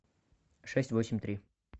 шесть восемь три